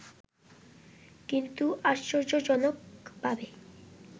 কিন্তু আশ্চর্যজনকভাবে